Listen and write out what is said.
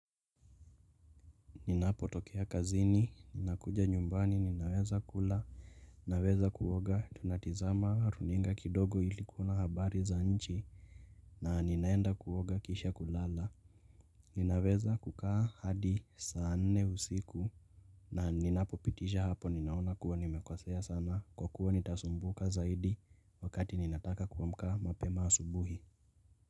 Ninapotokea kazini, ninakuja nyumbani, ninaweza kula, ninaweza kuoga, tunatizama runinga kidogo ili kuona habari za nchi na ninaenda kuoga kisha kulala, ninaweza kukaa hadi saa nne usiku na ninapo pitisha hapo ninaona kuwa nimekosea sana, kwa kuwa nitasumbuka zaidi wakati ninataka kuamka mapema asubuhi.